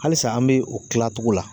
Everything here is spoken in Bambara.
Halisa an be o kila togo la